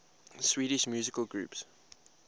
swedish musical groups